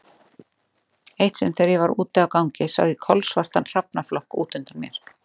Eitt sinn þegar ég var úti á gangi sá ég kolsvartan hrafnaflokk út undan mér.